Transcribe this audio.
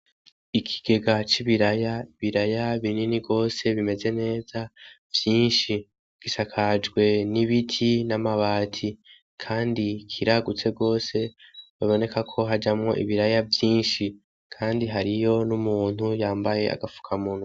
Ikigega c'ibiraya, ibiraya binini gose bimeze neza vyinshi, bisakajwe n'ibiti n'amabati kandi kiragutse gose biboneka ko hajamwo ibiraya vyinshi kandi hariyo n'umuntu yambaye agafukamunwa.